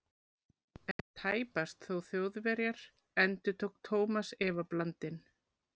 En tæpast þó Þjóðverjar? endurtók Thomas efablandinn.